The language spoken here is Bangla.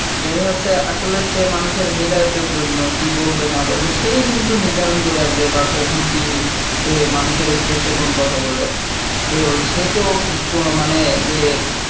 দেখা যাচ্ছে আসলে সে মানুষের হেদায়েতের জন্য কি বলবে না বলবে সেই কিন্তু নির্ধারণ করে আসবে বা কখন কি সে মানুষের উদ্দেশ্যে কোন কথা বলবে তো সে তো মানে যে